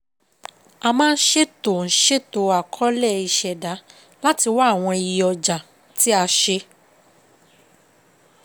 A máa ń ṣètò ń ṣètò Àkọọ́lẹ̀ ìṣẹ̀dá láti wá àwọn iye ọjà tí a ṣe.